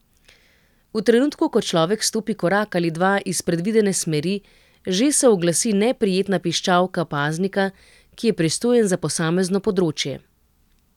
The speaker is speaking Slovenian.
V trenutku, ko človek stopi korak ali dva iz predvidene smeri, že se oglasi neprijetna piščalka paznika, ki je pristojen za posamezno področje.